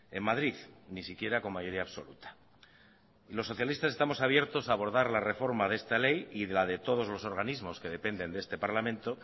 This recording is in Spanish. en madrid ni siquiera con mayoría absoluta los socialistas estamos abiertos a abordar la reforma de esta ley y la de todos los organismos que dependen de este parlamento